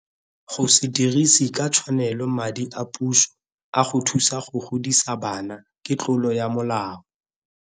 Go se dirise ka tshwanelo madi a puso a go thusa go godisa bana ke tlolo ya molao.